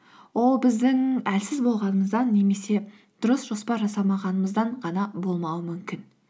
ол біздің әлсіз болғанымыздан немесе дұрыс жоспар жасамағанымыздан ғана болмауы мүмкін